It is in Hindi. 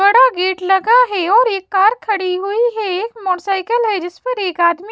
बड़ा गेट लगा है और एक कार खड़ी हुई है एक मोटसायकिल है जिस पर एक आदमी--